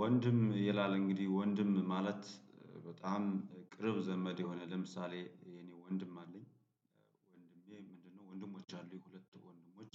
ወንድም ይላል እንግዲህ ወንድም ማለት በጣም ቅርብ ዘመድ የሆነ ለምሳሌ የኔ ወንድም አለኝ። ወንድሜ ምንድነው ወንድሞች አሉ ሁለት ወንድሞች።